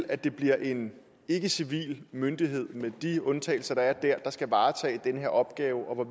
at det bliver en ikkecivil myndighed med de undtagelser der er der skal varetage den her opgave og